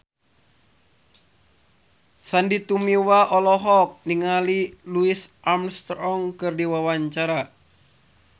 Sandy Tumiwa olohok ningali Louis Armstrong keur diwawancara